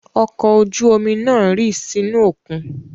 Ọkọ̀ ojú-omi náà rì sínú òkun.